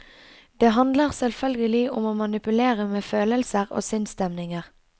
Det handler selvfølgelig om å manipulere med følelser og sinnsstemninger.